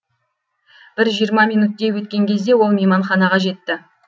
бір жиырма минуттей өткен кезде ол мейманханаға жетті